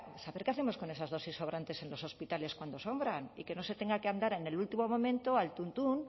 saber qué hacemos con esas dosis sobrantes en los hospitales cuando sobran y que no se tenga que andar en el último momento al tuntún